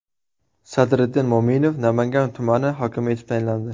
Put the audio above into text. Sadriddin Mo‘minov Namangan tumani hokimi etib tayinlandi.